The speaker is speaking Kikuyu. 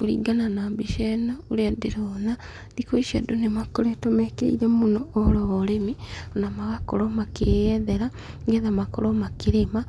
Kũringana na mbica ĩno ũrĩa ndĩrona, thikũ ici andũ nĩ makoretwo mekĩrĩire mũno ũhoro wa ũrĩmi, na magakorwo makĩyethera, nĩgetha makorwo makĩrĩma,